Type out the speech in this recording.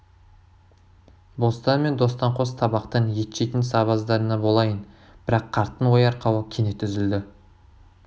бостан мен достанқос табақтан ет жейтін сабаздарыңа болайын бірақ қарттың ой арқауы кенет үзілді